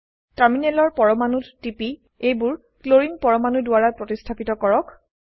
টাৰ্মিনেলৰ পৰমাণুত টিপি এইবোৰ ক্লোৰিন পৰমাণু দ্বাৰা প্ৰতিস্থাপিত কৰক